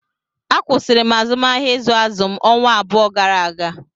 A kwụsịrị m azụmahịa ịzụ azụ m ọnwa abụọ gara aga